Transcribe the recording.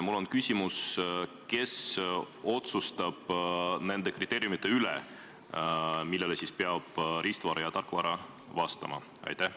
Mul on küsimus: kes otsustab nende kriteeriumite üle, millele peab riistvara ja tarkvara vastama?